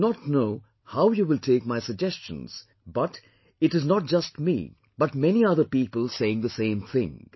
I do not know how you will take my suggestions but it is not just me but many other people saying the same thing